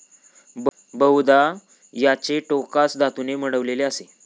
बहुदा, याचे टोकास धातूने मढविलेले असे ।